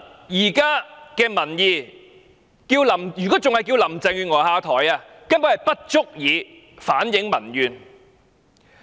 如果只是要求林鄭月娥下台，根本不足以反映民怨。